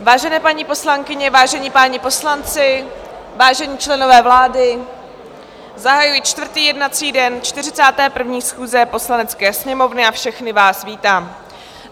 Vážené paní poslankyně, vážení páni poslanci, vážení členové vlády, zahajuji čtvrtý jednací den 41. schůze Poslanecké sněmovny a všechny vás vítám.